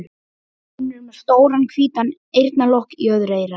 Hún er með stóran hvítan eyrnalokk í öðru eyra.